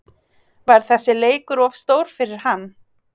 Var þessi leikur of stór fyrir hann?